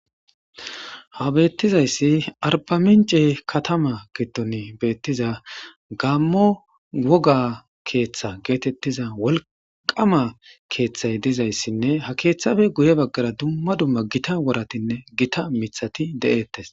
Ha betizaysi arba mince katama gidoni betiza Gamo woga keetha getetiza wolqama keethay dizaysinne ha keethappe guye bagara duma duma Gita woratinne Gita mithati de'etes